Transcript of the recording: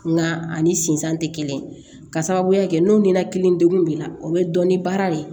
Nka ani sinzan tɛ kelen ka sababuya kɛ n'o ni nɛnɛkili degun b'i la o bɛ dɔn ni baara de ye